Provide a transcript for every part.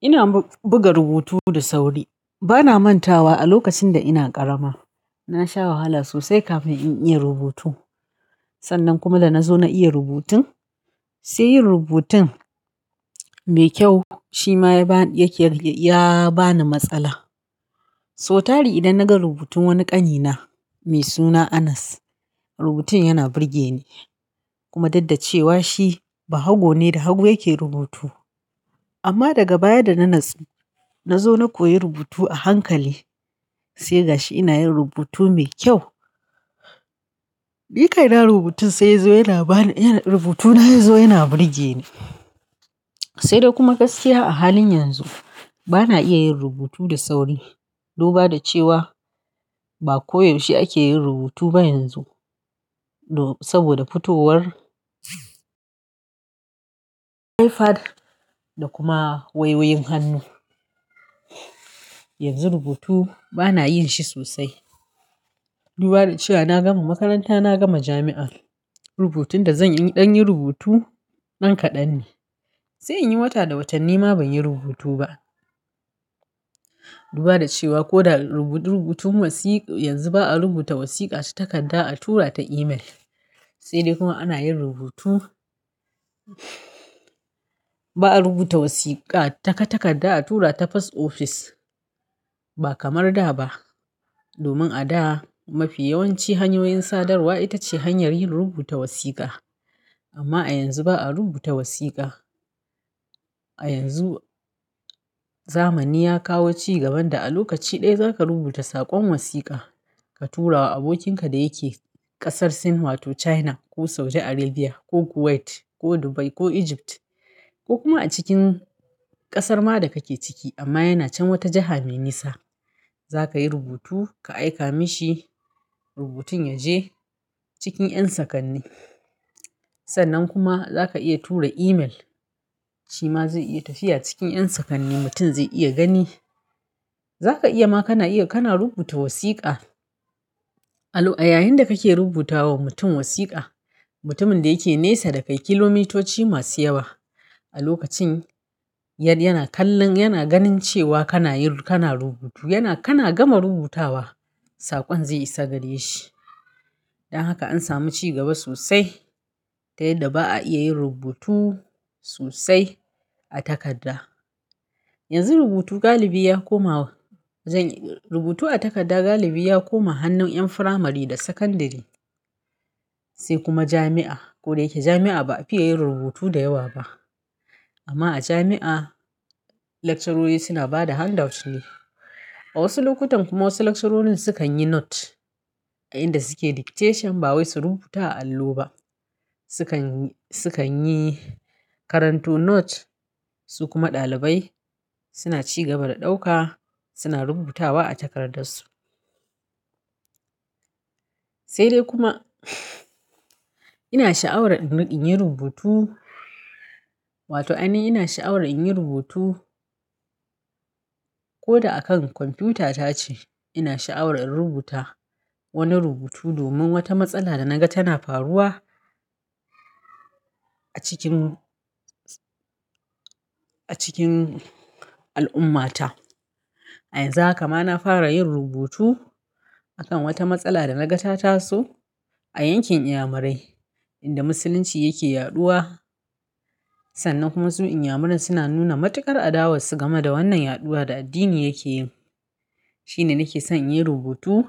Ina buga rubutu da sauri. Bana mantawa a lokacin da ina ƙarama. Na sha wahala sosai kafin in iya rubutu. Sannan kuma da na zo na iya rubutun, sai yin rubutun mai kyau shi ma ya ba ni, yake ya ba ni matsala. So tari idan naga rubutun wani ƙani na mai suna Anas, rubutun yana burge ni kuma daddace wa shi ba hago ne da hagu yake rubutu. Amma daga baya da na natsu, na zo na koyi rubutu a hankali sai ga shi ina yin rubutu mai kyau. Ni kai na rubutu sai yazo yana ba ni, rubutu na yazo yana burge ni. Sai dai kuma gaskiya a halin yanzu bana iya yin rubutu da sauri. Duba da cewa ba koyaushe ake yin rubutu ba yanzu. Saboda fitowar iPad da kuma wayoyin hannu. Yanzu rubutu bana yin shi sosai. Duba da cewa na gama makaranta, na gama jami'a. Rubutun da zan yin, in ɗan yin rubutu nan kaɗan ne. Sai in yi wata da watanni ma ban yi rubutu ba. Duba da cewa ko da rubutu, rubutu wasiƙa yanzu ba a rubuta wasiƙa ta takarda a tura ta email. Sai dai kuma ana yin rubutu, ba a rubuta wasiƙa ta takadda a tura ta pass office. Ba kamar da ba. Domin a da mafi yawanci hanyoyin sadarwa ita ce hanyar yin rubuta wasiƙa. Amma a yanzu ba a rubuta wasiƙa. A yanzu zamani ya kawo cigaban da a lokaci ɗaya za ka rubuta saƙon wasiƙa ka tura wa abokinka da yake ƙasar sin wato China ko Saudi Arabia ko Kuwait ko Dubai ko Egypt ko kuma a cikin ƙasar ma da kake ciki amma yana chan wata jiha me nisa. Za ka yi rubutu ka aika mishi rubutun ya je cikin ƴan sakanni. Sannan kuma za ka iya tura email shi ma zai iya tafiya cikin ƴan sakanni mutum zai iya gani. Za ka iya ma kana iya, kana rubuta wasiƙa a yayinda kake rubuta wa mutum wasiƙa, mutumin da yake nesa da kai kilomitoci masu yawa a lokacin yad yana kallon, yana ganin cewa kana yi, kana rubutu yana kana gama rubutawa saƙon zai isa gare shi. Dan haka an sami cigaba sosai. Ta yadda ba a iya yin rubutu sosai a takarda. Yanzu rubutu galibi ya koma, rubutu a takarda galibi ya koma hannun ƴan firamare da sakandare. Sai kuma jami'a. Ko da yake jami'a ba a fiya yin rubutu da yawa ba. Amma a jami'a lecturer suna ba da handouts ne. A wasu lokutan kuma wasu lecturer sukan yi note a inda suke dictation ba wai su rubuta a allo ba. Sukan, sukan yi karanto note su kuma ɗalibai suna cigaba da ɗauka suna rubutawa a takardarsu. Sai dai kuma ina sha'awar in yin rubutu wato ainihin ina sha'awar in yin rubutu ko da a kan kwamfuta tace ina sha'awar in rubuta wani rubutu domin wata matsala da naga tana faruwa a cikin, a cikin al'ummata. A yanzu haka ma na fara yin rubutu akan wata matsala da naga ta taso a yankin inyamurai inda musulunci yake yaɗuwa. Sannan kuma su inyamurai suna nuna matuƙar adawa su gama da wannan yaɗuwa da addini yake yin. Shine nake son in yi rubutu.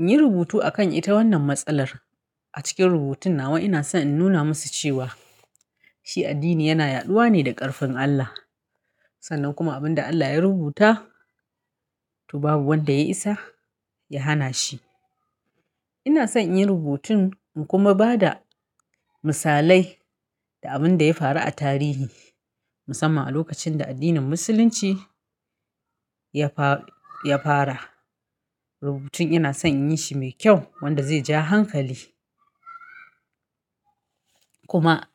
In yi rubutu akan ita wannan matsalar a cikin rubutun nawa ina son in nuna musu cewa shi addini yana yaɗuwa ne da ƙarfin Allah. Sannan kuma abin da Allah ya rubuta to babu wanda ya isa ya hana shi. Ina son in yi rubutun in kuma ba da misalai da abin da ya faru a tarihi musamman a lokacin da addinin musulunci ya fara, ya fara. Rubutun ina son in yi shi mai kyau wanda zai ja hankali. Kuma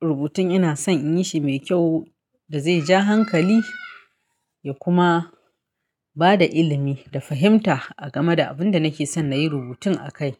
rubutun ina son in yi shi mai kyau da zai ja hankali ya kuma ba da ilimi da fahimta a game da abin da nake son na yi rubutun a kai.